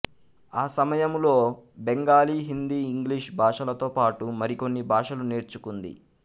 ఆ సమయములో బెంగాలీ హిందీ ఇంగ్లీషు భాషలతోపాటు మరి కొన్ని భాషలు నేర్చుకుంది